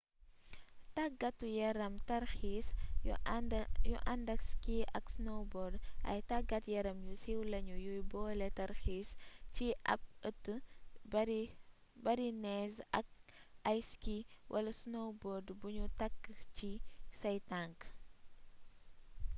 tàggatu-yarami tarxiis yu àndak ski ak snowbord ay taggat-yaram yu siiw lañu yuy boole tarxiis ci ab ëtt bari neez ak ay ski wala snowboard buñu takk ci say tank